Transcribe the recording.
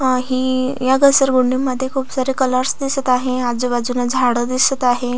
अ ही या घसरगुंडी मध्ये खुप सारे कलरस दिसत आहे आजुबाजुन झाड दिसत आहे.